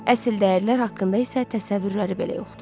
Əsl dəyərlər haqqında isə təsəvvürləri belə yoxdur.